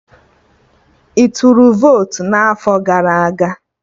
Ị tụrụ votu n'afọ gara aga?